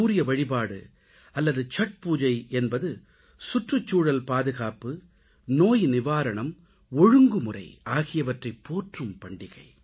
சூரிய வழிபாடு அல்லது சத்பூஜை என்பது சுற்றுச்சூழல் பாதுகாப்பு நோய் நிவாரணம் ஒழுங்குமுறை ஆகியவற்றைப் போற்றும் பண்டிகை